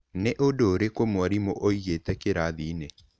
Nĩ ũndũ ũrĩkũ mwarimũ oigĩte kĩrathi-inĩ?